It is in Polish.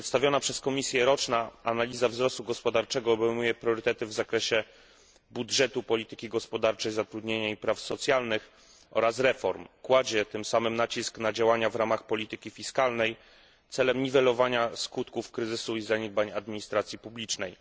Przedstawiona przez Komisję roczna analiza wzrostu gospodarczego obejmuje priorytety w zakresie budżetu, polityki gospodarczej, zatrudnienia i praw socjalnych oraz reform. Kładzie tym samym nacisk na działania w ramach polityki fiskalnej celem niwelowania skutków kryzysu i zaniedbań administracji publicznej.